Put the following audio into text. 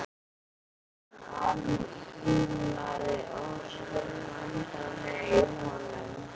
Það hringlaði ósköp vesældarlega í honum.